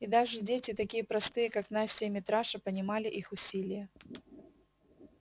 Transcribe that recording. и даже дети такие простые как настя и митраша понимали их усилие